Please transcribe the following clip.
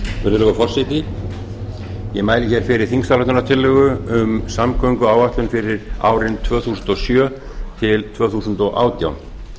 virðulegur forseti ég mæli fyrir þingsályktunartillögu um samgönguáætlun fyrir árin tvö þúsund og sjö til tvö þúsund og átján